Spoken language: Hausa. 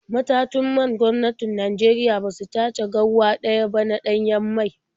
Matatun man gwamnatin Najeriya ba su tace ko garwa ɗaya ba na ɗanyen mai tun 2018.